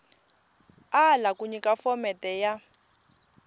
ala ku nyika phomete ya